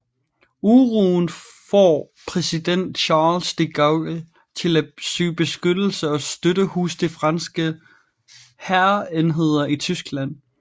Uroen får præsident Charles de Gaulle til at søge beskyttelse og støtte hos de franske hærenheder i Tyskland